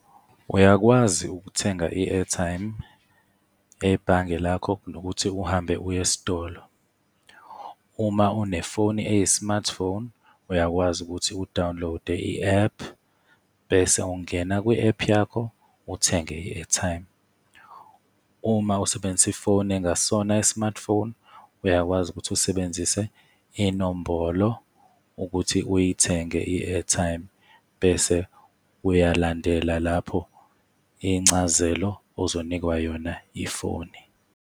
Uyakwazi ukuthenga i-airtime ebhange lakho kunokuthi uhambe uye esitolo. Uma unefoni eyi-smartphone, uyakwazi ukuthi u-download-e i-app, bese ungena kwi-app yakho uthenge i-airtime. Uma usebenzisa ifoni engasiyona i-smartphone, uyakwazi ukuthi usebenzise inombolo ukuthi uyithenge i-airtime, bese uyalandela lapho incazelo ozonikwa yona ifoni.